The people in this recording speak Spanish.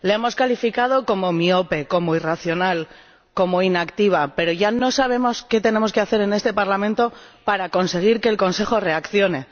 La hemos calificado como miope, como irracional, como inactiva, pero ya no sabemos qué tenemos que hacer en este Parlamento para conseguir que el Consejo reaccione.